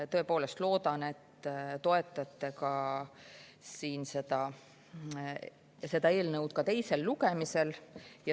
Tõepoolest loodan, et te toetate seda eelnõu ka teisel lugemisel.